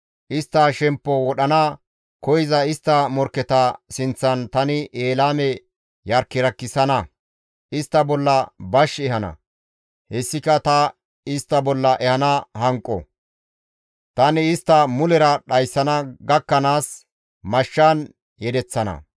Istta shemppo wodhana koyza istta morkketa sinththan tani Elaame yarkiyarkisana; istta bolla bash ehana; hessika ta istta bolla ehana hanqo; tani istta mulera dhayssana gakkanaas mashshan yedeththana.